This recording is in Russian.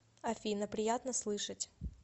афина приятно слышать